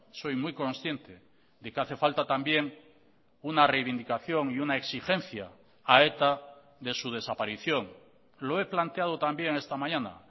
soy muy consciente de que hace falta también una reivindicación y una exigencia a eta de su desaparición lo he planteado también esta mañana